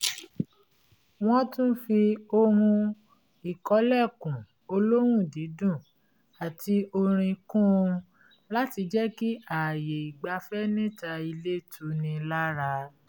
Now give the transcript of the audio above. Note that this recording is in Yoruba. wọ́n tún fi ohun-ìkọ́lẹ̀kùn olóhùn dídùn àti orin kún un láti jẹ́ kí ààyè ìgbafẹ́ níta ilé tunni lára